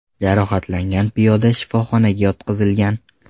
Jarohatlangan piyoda shifoxonaga yotqizilgan.